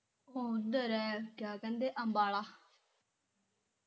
ਉਹ ਉਧਰ ਐ ਕਿਆ ਕਹਿੰਦੇ ਅੰਬਾਲਾ